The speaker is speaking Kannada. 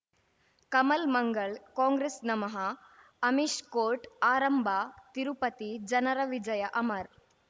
ಕಮಲ್ ಮಂಗಳ್ ಕಾಂಗ್ರೆಸ್ ನಮಃ ಅಮಿಷ್ ಕೋರ್ಟ್ ಆರಂಭ ತಿರುಪತಿ ಜನರ ವಿಜಯ ಅಮರ್